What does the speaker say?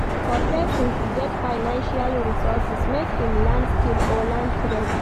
For persin to get financial resources make im learn skill or learn trade